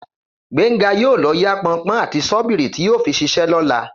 Gbénga yóò lọ yá pọnpọ́n àti ṣọ́bìrì tí yóò fi ṣiṣẹ́ lọ́la